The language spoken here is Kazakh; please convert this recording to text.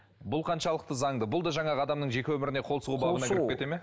бұл қаншалықты заңды бұл да жаңағы адамның жеке өміріне қол сұғу бабына кіріп кетеді ме